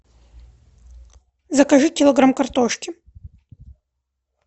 закажи килограмм картошки